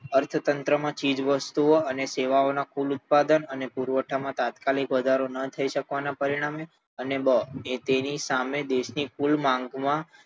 અર્થતંત્રમાં ચીજ-વસ્તુઓ અને સેવાઓના કુલ ઉત્પાદન અને પુરવઠામાં તાત્કાલિક વધારો ન થઈ શકવાના પરિણામે અને બ તેની સામે દેશની કુલ માંગમાં